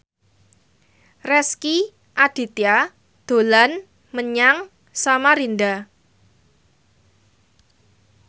Rezky Aditya dolan menyang Samarinda